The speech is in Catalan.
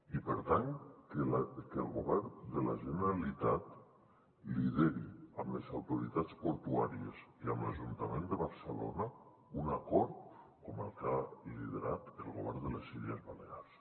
i per tant que el govern de la generalitat lideri amb les autoritats portuàries i amb l’ajuntament de barcelona un acord com el que ha liderat el govern de les illes balears